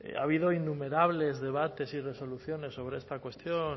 ha habido innumerables debates y resoluciones sobre esta cuestión